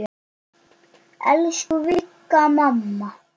Elsku Vigga mamma.